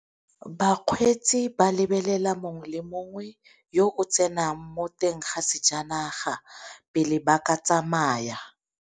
Bakgweetsi ba lebelela mongwe le mongwe yo o tsenang mo teng ga sejanaga pele ba ka tsamaya.